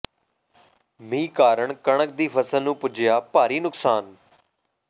ਮੀਂਹ ਕਾਰਨ ਕਣਕ ਦੀ ਫ਼ਸਲ ਨੂੰ ਪੁੱਜਿਆ ਭਾਰੀ ਨੁਕਸਾਨ